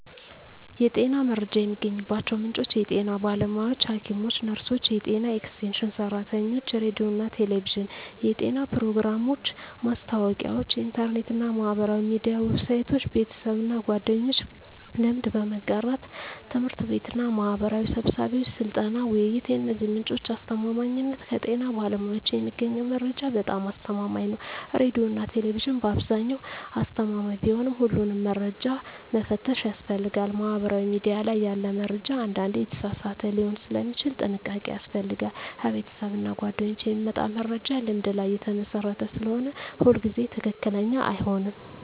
የጤና መረጃ የሚገኝባቸው ምንጮች የጤና ባለሙያዎች (ሐኪሞች፣ ነርሶች፣ የጤና ኤክስቴንሽን ሰራተኞች) ሬዲዮና ቴሌቪዥን (የጤና ፕሮግራሞች፣ ማስታወቂያዎች) ኢንተርኔት እና ማህበራዊ ሚዲያ ዌብሳይቶች) ቤተሰብና ጓደኞች (ልምድ በመጋራት) ት/ቤትና ማህበራዊ ስብሰባዎች (ስልጠና፣ ውይይት) የእነዚህ ምንጮች አስተማማኝነት ከጤና ባለሙያዎች የሚገኘው መረጃ በጣም አስተማማኝ ነው ሬዲዮና ቴሌቪዥን በአብዛኛው አስተማማኝ ቢሆንም ሁሉንም መረጃ መፈተሽ ያስፈልጋል ማህበራዊ ሚዲያ ላይ ያለ መረጃ አንዳንዴ የተሳሳተ ሊሆን ስለሚችል ጥንቃቄ ያስፈልጋል ከቤተሰብና ጓደኞች የሚመጣ መረጃ ልምድ ላይ የተመሰረተ ስለሆነ ሁሉ ጊዜ ትክክለኛ አይሆንም